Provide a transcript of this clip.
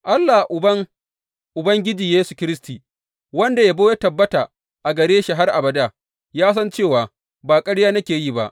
Allah Uban Ubangiji Yesu Kiristi, wanda yabo ta tabbata a gare shi har abada, ya san cewa ba ƙarya nake yi ba.